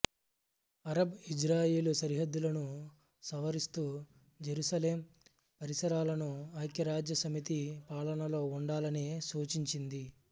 Arab Israel సరిహద్దులను సవరిస్తూ Jerusalem పరిసరాలను ఐక్యారాజ్యసమితి పాలనలో ఉండాలని సూచించింది